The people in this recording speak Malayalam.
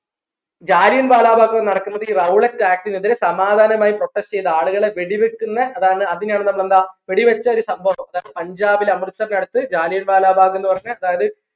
Jallian wala bhag നടക്കുന്നത് ഈ rowlatt act നെതിരെ സമാദാനാമായി protest ചെയ്ത ആളുകളെ വെടി വെക്ക്ന്ന അതാണ് അതിനെയാണ് നമ്മൾ എന്താ വെടി വെച്ചൊരു ഒരു പഞ്ചാബിലെ അമൃതസർന് അടുത് ജാലിയൻ വാല ബാഗ്ന്ന് പറഞ്ഞ അതായത്